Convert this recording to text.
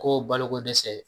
Ko bolokodɛsɛ